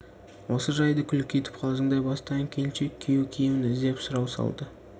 осы жайды күлкі етіп қалжыңдай бастаған келіншек күйеу киімін іздеп сұрау салды